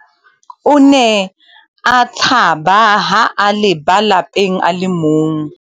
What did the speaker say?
O ne a tshaba ha a leba lapeng a le mong.